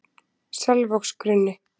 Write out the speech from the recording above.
Selvogsgrunni